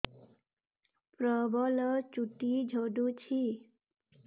ପ୍ରବଳ ଚୁଟି ଝଡୁଛି